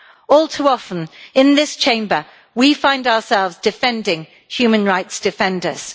All too often in this Chamber we find ourselves defending human rights defenders.